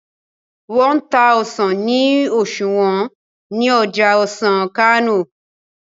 wón n tá ọsán ni oṣuwọn ní Ọjà ọsán Kano ní